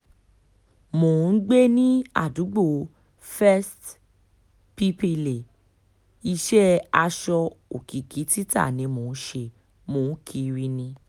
mo ń gbé ní àdúgbò first pípilẹ̀ iṣẹ́ aṣọ òkìkí títa ni mò ń ṣe mò ń kiri ni